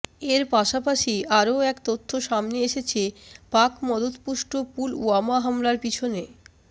এর পাশাপাশি আরও এক তথ্য সামনে এসেছে পাক মদতপুষ্ট পুলওয়ামা হামলার পিছনে